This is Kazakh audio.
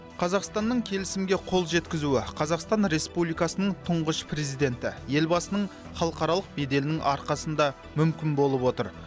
қазақстанның келісімге қол жеткізуі қазақстан республикасының тұңғыш президенті елбасының халықаралық беделінің арқасында мүмкін болып отыр